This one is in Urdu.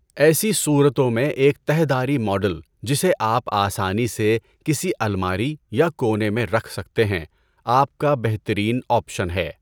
ایسی صورتوں میں ایک تہہ دھاری ماڈل جسے آپ آسانی سے کسی الماری یا کونے میں رکھ سکتے ہیں آپ کا بہترین آپشن ہے۔